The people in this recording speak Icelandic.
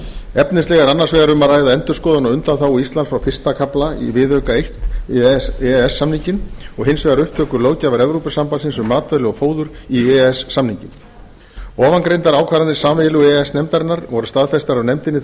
efnislega er annars vegar um að ræða endurskoðun á undanþágu íslands frá fyrsta kafla í viðauka eins við e e s samninginn og hins vegar upptöku löggjafar evrópusambandsins um matvæli og fóður inn í e e s samninginn framangreindar ákvarðanir sameiginlegu e e s nefndarinnar voru staðfestar af nefndinni